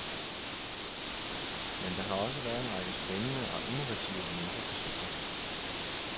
Men der har også været en række spændende og innovative mindre projekter.